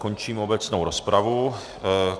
Končím obecnou rozpravu.